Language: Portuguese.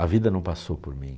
A vida não passou por mim.